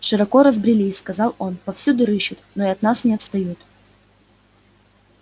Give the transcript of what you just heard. широко разбрелись сказал он повсюду рыщут но и от нас не отстают